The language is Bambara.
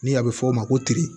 Ni a bɛ fɔ o ma ko